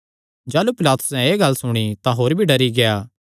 जाह़लू पिलातुसैं एह़ गल्ल सुणी तां होर भी डरी गेआ